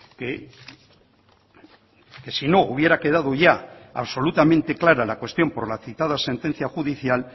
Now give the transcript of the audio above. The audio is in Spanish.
que si no hubiera quedado ya absolutamente clara la cuestión por la citada sentencia judicial